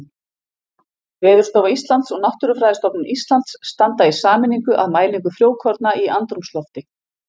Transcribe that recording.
Veðurstofa Íslands og Náttúrufræðistofnun Íslands standa í sameiningu að mælingu frjókorna í andrúmslofti.